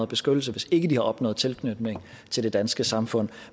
beskyttelse hvis ikke de har opnået tilknytning til det danske samfund